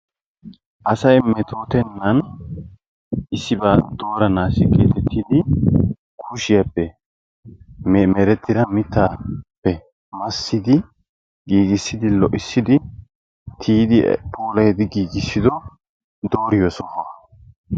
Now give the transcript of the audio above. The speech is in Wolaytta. Asayi metootrennan Issibaa dooranaassi geetettidi kushiyappe merettida mittaappe massidi giigissidi lo'issidi tiyidi puulayidi giigissido dooriyo sohuwa.